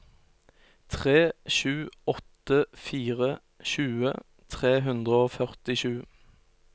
tre sju åtte fire tjue tre hundre og førtisju